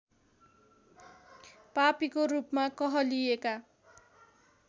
पापीको रूपमा कहलिएका